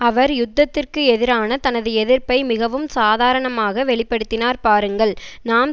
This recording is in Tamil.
அவர் யுத்தத்திற்கு எதிரான தனது எதிர்ப்பை மிகவும் சாதாரணமாக வெளி படுத்தினார் பாருங்கள் நாம்